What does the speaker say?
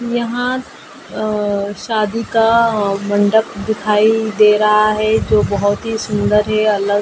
यहाँ अ शादी का मंडप दिखाई दे रहा है जो बहुत ही सुंदर है अलग तीन प्रकार --